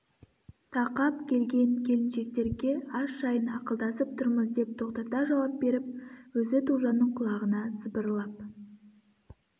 тақап келген келіншектерге ас жайын ақылдасып тұрмыз деп тоқтата жауап беріп өзі тоғжанның құлағына сыбырлап